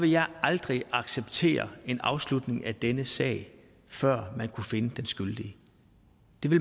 jeg aldrig acceptere en afslutning af denne sag før man kunne finde den skyldige